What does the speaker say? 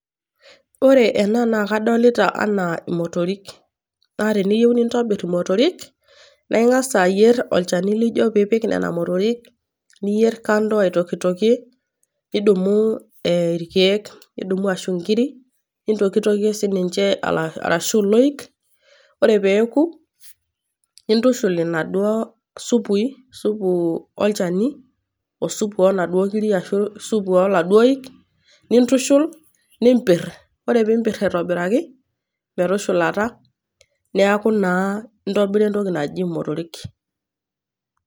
Ore ena naa kadolita ana imotorik . Naa teniyieu nintobir imotorik, naa ingas ayier olchani lijo piipik nena motorik , niyier kando aitokitokie ,nidumu irkieek , nidumu ashu inkiri , nitokietokie sininche arashu iloik, ore pee eeku , nintushul inaduoo supui, supu olchani ,osupu oonaduoo kiri arashu supu oladuoo oik , nintushul, nimpir, ore pimpir aitobiraki metushulata neaku naa intobira entoki naji imotorik.